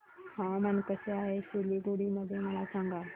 हवामान कसे आहे सिलीगुडी मध्ये मला सांगा